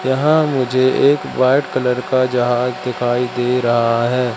यहां मुझे एक व्हाइट कलर का जहाज दिखाई दे रहा है।